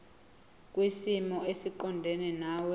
kwisimo esiqondena nawe